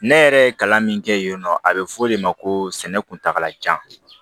Ne yɛrɛ ye kalan min kɛ yennɔ a bɛ fɔ o de ma ko sɛnɛ kuntagalajan